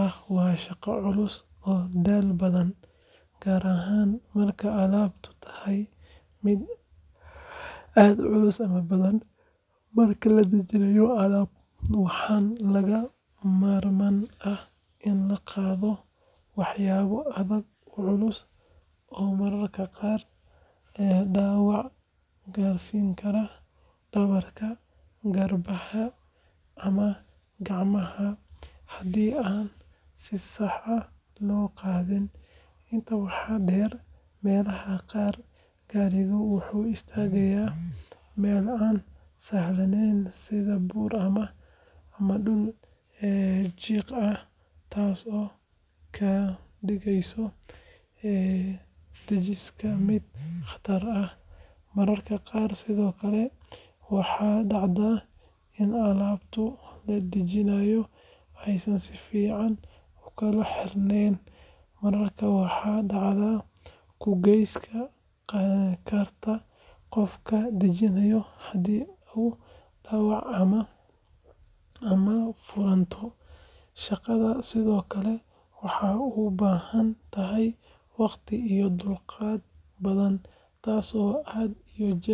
ah waa shaqo culus oo daal badan, gaar ahaan marka alaabtu tahay mid aad u culus ama badan. Marka la dejinayo alaab, waxaa lagama maarmaan ah in la qaado waxyaabo aad u culus oo mararka qaar dhaawac gaarsiin kara dhabarka, garbaha ama gacmaha haddii aan si sax ah loo qaadin. Intaa waxaa dheer, meelaha qaar gaarigu wuxuu istaagaa meel aan sahlanayn sida buur ama dhul jiq ah taasoo ka dhigaysa dejinta mid khatar ah. Mararka qaar sidoo kale waxaa dhacda in alaabta la dejinayo aysan si fiican u kala xirnayn, markaa waxay dhaawac u geysan kartaa qofka dejinaya haddii ay dhacdo ama furanto. Shaqadan sidoo kale waxay u baahan tahay waqti iyo dulqaad badan, taasoo aan had iyo jeer.